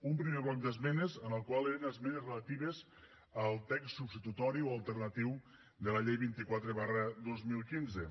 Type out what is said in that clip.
un primer bloc d’esmenes el qual eren esmenes relatives al text substitutori o alternatiu de la llei vint quatre dos mil quinze